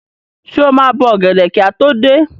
Ṣé o máa bọ ọ̀gẹ̀dẹ̀ kí a tó dé?